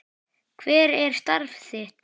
Hver er starf þitt?